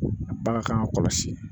Bagan kan ka kɔlɔsi